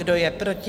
Kdo je proti?